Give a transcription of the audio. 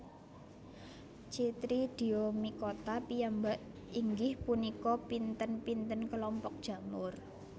Chytridiomycota piyambak inggih punika pinten pinten kelompok jamur